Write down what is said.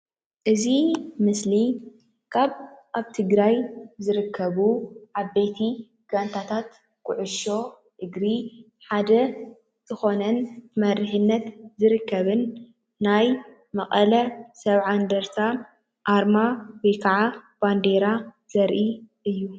እዚ ምስሊ ካብ አብ ትግራይ ዝርከቡ ዓበይቲ ጋንታታት ኩዕሶ እግሪ ሓደ ዝኾነ መሪሕነት ዝርከብን ናይ መቐለ 70 እንደርታ ኣርማ ወይ ካዓ ባንዴራ ዘርኢ እዩ፡፡